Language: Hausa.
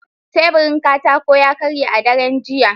Teburin katako ya karye a daren jiya.